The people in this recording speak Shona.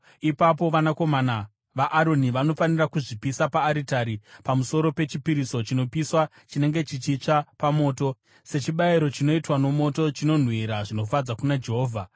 Ipapo vanakomana vaAroni vanofanira kuzvipisa paaritari pamusoro pechipiriso chinopiswa chinenge chichitsva pamoto, sechibayiro chinoitwa nomoto, chinonhuhwira zvinofadza kuna Jehovha.